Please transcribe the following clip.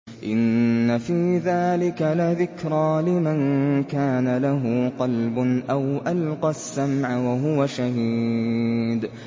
إِنَّ فِي ذَٰلِكَ لَذِكْرَىٰ لِمَن كَانَ لَهُ قَلْبٌ أَوْ أَلْقَى السَّمْعَ وَهُوَ شَهِيدٌ